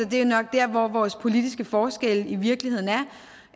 det er nok der vores politiske forskelle i virkeligheden